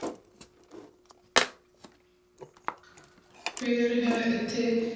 ਫਿਰ ਹੈ ਇੱਥੇ